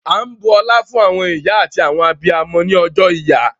À n bú ọ̀là fún àwọn ìyá àti àwọn abíamọ̀ ní Ọ̀jọ́ Ìyà